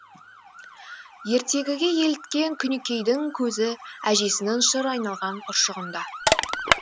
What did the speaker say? ертегіге еліткен күнікейдің көзі әжесінің шыр айналған ұршығында